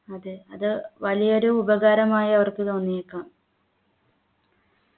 അതെ അത് വലിയ ഒരു ഉപകാരമായി അവർക്ക് തോന്നിയേക്കാം